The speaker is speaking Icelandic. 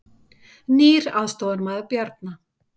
Nýr aðstoðarmaður Bjarna